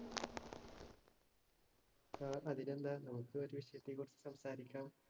ആ അതിന് എന്താ നമുക്ക് ഒരു വിഷയത്തെ കുറിച്ച് സംസാരിക്കാം